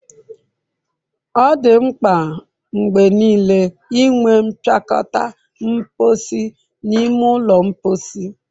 Ọ dị mkpa mgbe niile inwe mpịakọta mposi n'ime ụlọ mposi.